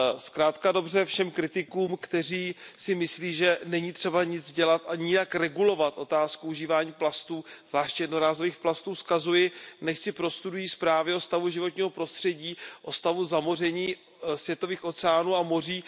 Zkrátka a dobře, všem kritikům, kteří si myslí, že není třeba nic dělat a nijak regulovat otázku užívání plastů, zvláště jednorázových plastů, vzkazuji, nechť si prostudují zprávy o stavu životního prostředí, o stavu zamoření světových oceánů a moří.